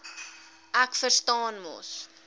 ek verstaan mos